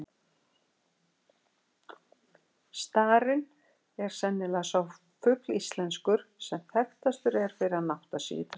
Starinn er sennilega sá fugl íslenskur, sem þekktastur er fyrir að nátta sig í trjám.